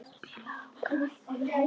Spilaðu á greiðu.